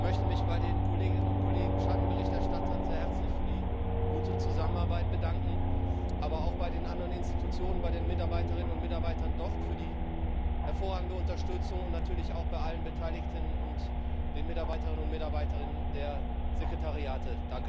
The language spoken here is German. Ich möchte mich bei den Kolleginnen und Kollegen Schattenberichterstattern sehr herzlich für die gute Zusammenarbeit bedanken, aber auch bei den anderen Organen, bei den Mitarbeiterinnen und Mitarbeitern dort für die hervorragende Unterstützung und natürlich auch bei allen Beteiligten und den Mitarbeiterinnen und Mitarbeiter der Sekretariate.